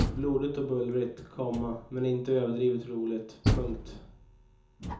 Blodigt och bullrigt, komma men inte överdrivet roligt. punkt